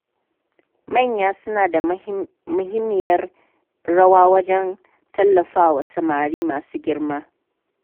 Manya suna da muhimmiyar rawa wajen tallafawa samari masu girma.